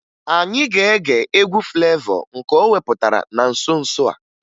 Anyị ga-ege egwu Flevọ nke o wepụtara na nso nso a